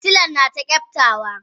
Fitilan nata kyaftawa.